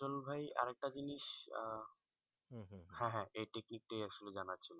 সজল ভাই আরেকটা জিনিস আহ হ্যাঁ হ্যাঁ এই technique টাই আসলে জানার ছিল